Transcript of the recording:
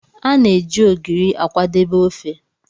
A na-eji Ogiri akwadebe ofe.